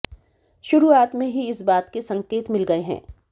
शुरुआत में ही इस बात के संकेत मिल गए हैं